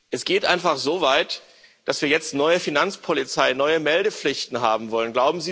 Es geht einfach so weit, dass wir jetzt neue Finanzpolizei, neue Meldepflichten haben wollen.